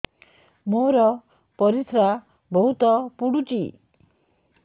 ମୋର ପରିସ୍ରା ବହୁତ ପୁଡୁଚି